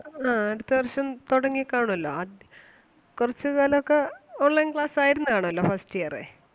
ആണോ അടുത്ത വർഷം തൊടങ്ങി കാണുവല്ലോ? ആദ്യ കൊറച്ച് കാലം ഒക്കെ online class ആയിരുന്ന് കാണുവല്ലോ first year ഏ.